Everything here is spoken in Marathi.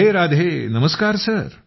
राधे राधे नमस्कार